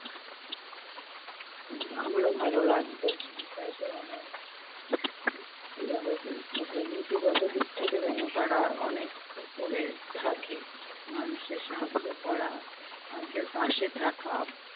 উহ আমারো ভালো লাগবে, আমি চাই যে মানে উম কি ভাবে বলবো? হ্যাঁ, নীতিগত দিক থেকে যেন তারা অনেক ওপরে থাকে, মানুষের সাহায্য করা, মানুষের পাশে থাকা,